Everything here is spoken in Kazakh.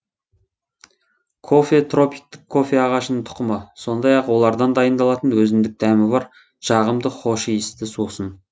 кофе тропиктік кофе ағашының тұқымы сондай ақ олардан дайындалатын өзіндік дәмі бар жағымды хош иісті сусын